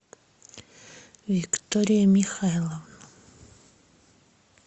виктория михайловна